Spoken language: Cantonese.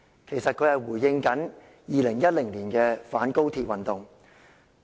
其實他這樣說是回應2010年的反高鐵運動。